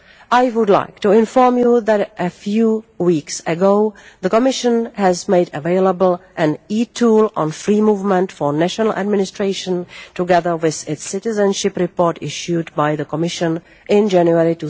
least, I would like to inform you that a few weeks ago, the Commission has made available an e tool on free movement for national administration, together with its citizenship report issued by the Commission in January